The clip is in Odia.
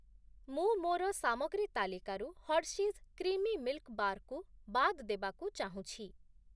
ମୁଁ ମୋର ସାମଗ୍ରୀ ତାଲିକାରୁ ହର୍ଷିଜ୍ କ୍ରିମି ମିଲ୍‌କ୍‌ ବାର୍‌ କୁ ବାଦ୍ ଦେବାକୁ ଚାହୁଁଛି ।